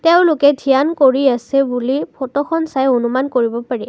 এওঁলোকে ধ্যান কৰি আছে বুলি ফটোখন চাই অনুমান কৰিব পাৰি।